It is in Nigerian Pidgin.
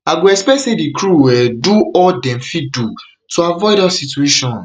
i go expect say di crew um do all dem fit do to avoid dat situationt